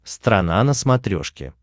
страна на смотрешке